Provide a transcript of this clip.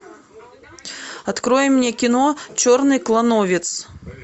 открой мне кино черный клановец